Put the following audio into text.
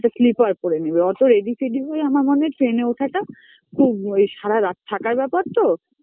তো slipper পরে নেবে ওতো ready ফেডী হয়ে আমরা মনে হয় train -এ ওঠা টা খুব, সারা রাত থাকার ব্যাপার তো